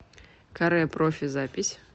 каре профи запись